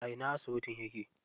A ina asibitin yake?